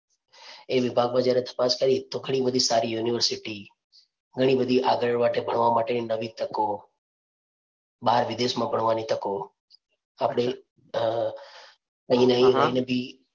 એ વિભાગ માં જ્યારે તપાસ કરી તો ઘણી બધી સારી university ઘણી બધી આગળ વાટે ભણવા માટે નવી તકો, બહાર વિદેશ માં ભણવાની તકો, આપણે નવી નવી